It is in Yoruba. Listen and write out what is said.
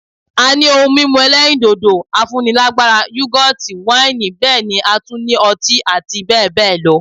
A ní ohun mímu ẹlẹ́rìndòdò, afúnilágbára, Yúgọ́ọ̀tì ,wáìnì bẹ́ẹ̀ ni a tún ní ọtí àti bẹẹ bẹẹ lọ